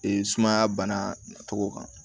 Ee sumaya bana tɔgɔ kan